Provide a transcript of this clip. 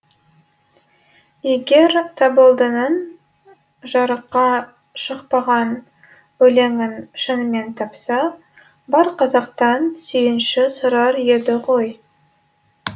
егер табылдының жарыққа шықпаған өлеңін шынымен тапса бар қазақтан сүйінші сұрар еді ғой